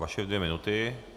Vaše dvě minuty.